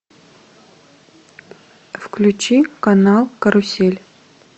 включи канал карусель